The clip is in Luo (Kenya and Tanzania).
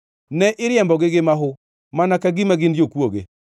Ne iriembogi gi mahu mana ka gima gin jokwoge.